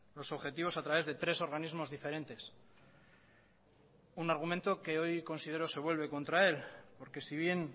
los objetivos a través de tres organismos diferentes un argumento que hoy considero se vuelve contra él porque si bien